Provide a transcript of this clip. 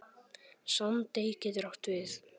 Sandey getur átt við